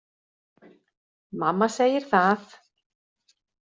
Mamma segir það